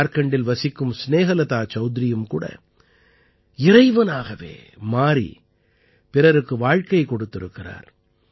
ஜார்க்கண்டில் வசிக்கும் ஸ்நேஹலதா சௌத்ரியும் கூட இறைவனாகவே மாறி பிறருக்கு வாழ்க்கை கொடுத்திருக்கிறார்